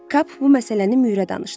Kap bu məsələni Mürə danışdı.